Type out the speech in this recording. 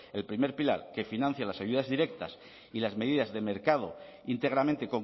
el primer pilar que financie las ayudas directas y las medidas de mercado íntegramente